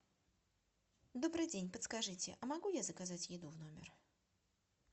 добрый день подскажите а могу я заказать еду в номер